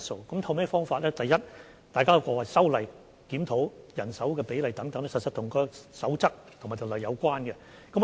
所透過的方法，是首先修例和檢討人手比例，這是與守則和條例有關的。